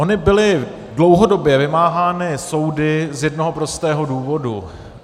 Ony byly dlouhodobě vymáhány soudy z jednoho prostého důvodu.